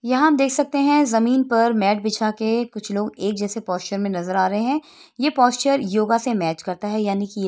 यहाँ आप देख सकते है जमीन पर मैट बिछाके कुछ लोग एक जैसे पोस्चर में नजर आ रहै हैं ये पोस्चर योगा से मैच करता है यानी कि ये --